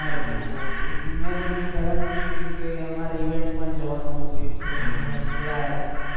ઘણા ખરા લોકો મે તમને પહેલા ન હતુ કીધુ કે અમારે event મા જ જવાનુ હતુ એક friend ને બોલાયા હતા.